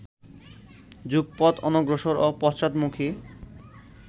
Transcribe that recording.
যুগপৎ অনগ্রসর ও পশ্চাৎমুখী